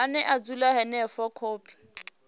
ane a dzula henefho khophi